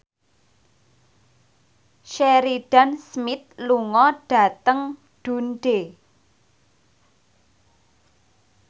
Sheridan Smith lunga dhateng Dundee